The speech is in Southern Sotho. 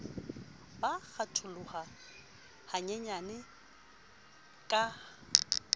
ba a kgatholoha hanyenyane ka